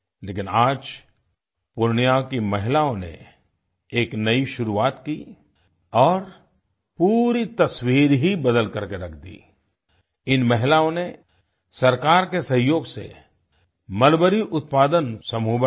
लेकिन आज पूर्णिया की महिलाओं ने एक नई शुरुआत की और पूरी तस्वीर ही बदल कर के रख दी आई इन महिलाओं ने सरकार के सहयोग से मलबरीउत्पादन समूह बनाए